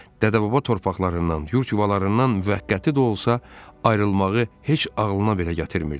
Dədə-baba torpaqlarından, yurd yuvalarından müvəqqəti də olsa ayrılmağı heç ağlına belə gətirmirdi.